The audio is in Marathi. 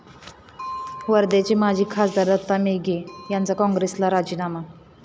वर्ध्याचे माजी खासदार दत्ता मेघे यांचा काँग्रेसला राजीनामा